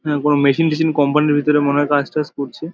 কোনো মেশিন টেসিন কোম্পানি -এর ভিতরে মনে হয় কাজ টাজ করছে।